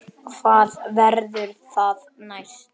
Hvað verður það næst?